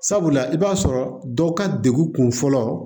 Sabula i b'a sɔrɔ dɔw ka degun kun fɔlɔ